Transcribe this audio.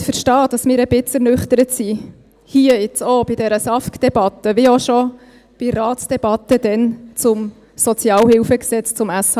Sie können verstehen, dass wir ein wenig ernüchtert sind, hier jetzt auch bei dieser SAFG-Debatte, wie auch schon bei der Ratsdebatte damals zum SHG.